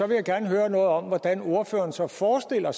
gerne høre noget om hvordan ordføreren så forestiller